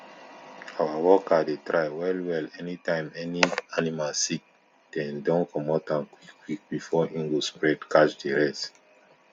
our worker dey try wellwell any time any animal sick dey don comot am quickquick before e go spread catch di rest